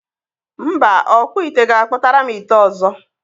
Mba, ọkpụ ite ga-akpụtara m ite ọzọ.